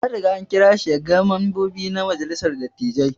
An Riga an kira shi ya gan membobi na majalissar dattijai.